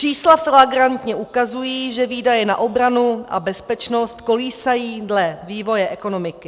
Čísla flagrantně ukazují, že výdaje na obranu a bezpečnost kolísají dle vývoje ekonomiky.